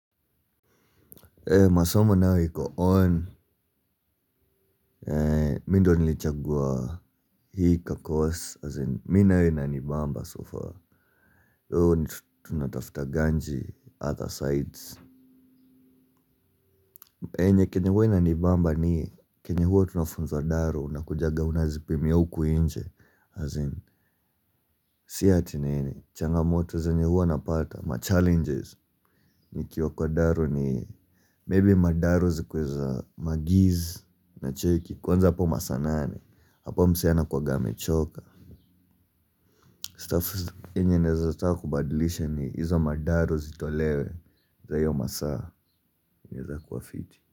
Masomo nayo iko on, mi ndo nilichagua hii kakos, as in, mi nayo inanibamba so fa Yuhu tunatafta ganji other sides. Enye kenye huwa inanibamba ni, kenye huwa tunafunza daro, unakujaga unazipimia huku inje. As in, si ati nini, changamoto zenye huwa napata, ma-challenges. Nikiwa kwa daro ni, maybe madaru zikuwe za ma-giz unacheki kwanza hapo masaa nane, hapo msee anakuanga amechoka. Stuff yenye naezataka kubadilisha ni izo madaro zitolewe za hiyo masaa inaeza kuwa fiti.